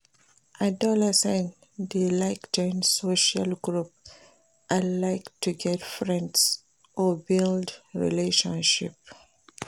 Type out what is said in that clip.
Adolescents de like join social group and like to get friends or build relationship